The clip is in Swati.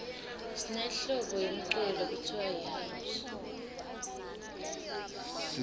sinehlobo yemculo lekutsiwa yihouse